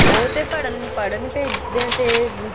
ਉਹ ਤੇ ਪੜ੍ਹਨ ਪੜ੍ਹਨ ਭੇਜਦੇ ਆ ਤੇ